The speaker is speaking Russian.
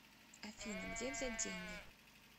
афина где взять деньги